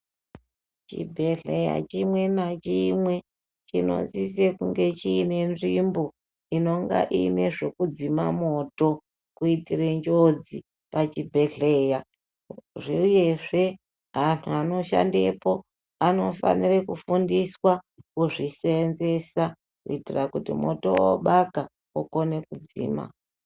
Chibhedhleya chimwe nachimwe chinosise kunge chiine nzvimbo inonga iine zvekudzima moto kuitire njodzi pachibhedhleya uyezve antu anoshandepo anofanire kufundiswa kuzviseenzesa kuitira kuti moto wobaka vakone kuudzima